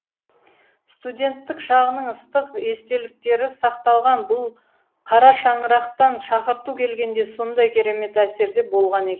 студенттік шағының ыстық естеліктері сақталған бұл қарашаңырақтан шақырту келгенде сондай керемет әсерде болған екен